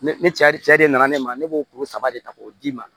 Ne ne cɛ de nana ne ma ne b'o kuru saba de ta k'o d'i ma